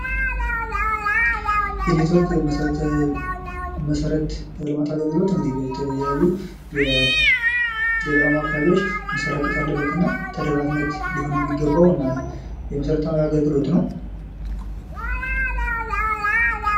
የኔትወርክ መሰረተ ልማት አገልግሎት እንግዲህ በተለያዩ የገጠራማ አካባቢዎች መሰራጨት አለበት እና ተደራሽነት ሊሆን የሚገባው እና የመሰረታዊ አገልግሎት ነው።